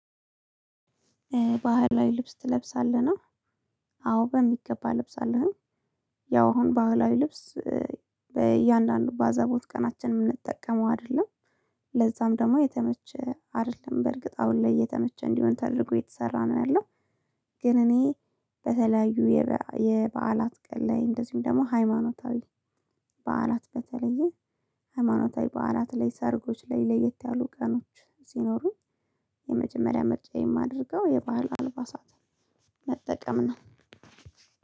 ባህላዊ ልብስ ትለብሳለህ ነው። አዎ በሚገባ ልብስ አለሁኝ። ያው አሁን ባህላዊ ልብስ በእያንዳንዱ ባዘቦት ቀናችን የምንጠቀመው አይደለም። ለዛም ደግሞ የተመቸ አይደለም በእርግጥ አሁን ላይ እየተመቸ እንዲሆን ተደርጎ እየተሰራ ነው ያለው። ግን እኔ በተለያዩ የበዓላት ቀን ላይ እንደዚሁም ደግሞ ሃይማኖታዊ በዓላት በተለየ ሃይማኖታዊ በዓላት ላይ ሰርጎች ላይ ለየት ያሉ ቀኖች ሲኖሩ የመጀመሪያ ምርጫ የማደርገው የባህል አልባሳትን መጠቀም ነው።